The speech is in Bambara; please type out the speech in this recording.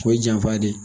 O ye janfa de ye